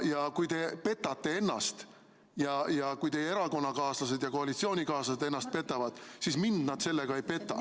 Ja kui te petate ennast ja kui teie erakonnakaaslased ja koalitsioonikaaslased ennast petavad, siis mind nad sellega ei peta.